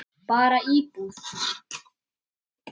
Bara íbúð.